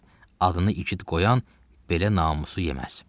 Adını igid qoyan belə namusu yeməz.